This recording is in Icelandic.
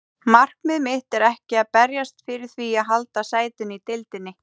Markmið mitt er ekki að berjast fyrir því að halda sætinu í deildinni.